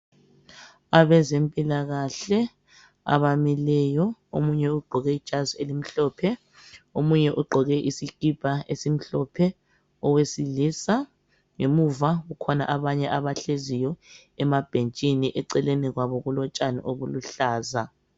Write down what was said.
abezempilakahle abamileyo omunye ugqoke ijazi elimhlophe omunye ugqoke isikipa esimhlophe owesilisa ngemuva kukhonja abanye abahleziyo emabhentshini eceleni kwabo kulotshani obuluhlaza